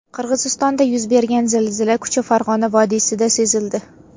Qirg‘izistonda yuz bergan zilzila kuchi Farg‘ona vodiysida sezildi.